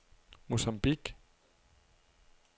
Mocambique